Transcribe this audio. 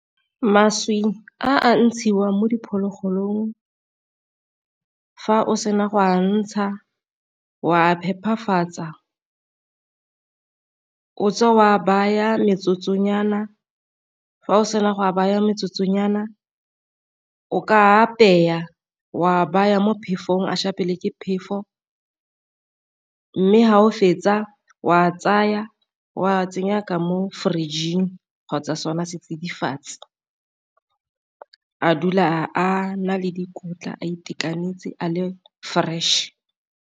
Mašwi a a ntshiwang mo diphologolong fa o sena go ka ntsha wa phephafatsa, o tswe o a baya metsotsonyana fa o sena go a baya metsotsonyana o ka apeya wa baya mo phefong a ke phefo, mme fa o fetsa o a tsaya o a tsenya ka mo fridge-ing kgotsa sona setsidifatsi, a dula a na le dikotla a itekanetse a le fresh.